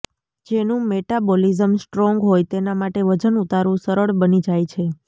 જેનું metabolism strong હોય તેના માટે વજન ઉતારવું સરળ બની જાય છે